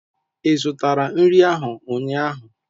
Ị zụtara nri ahu ụnyaahụ?